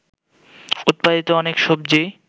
উৎপাদিত অনেক সবজি